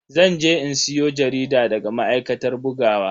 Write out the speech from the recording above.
Zan je in siyo jarida daga ma'aikatar bugawa.